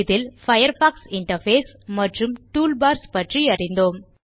இதில் Firefox interface மற்றும் toolbars பற்றியறிந்தோம்